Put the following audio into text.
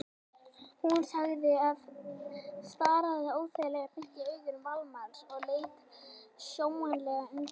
sagði hún og starði óþægilega beint í augu Valdimars sem leit sljólega undan.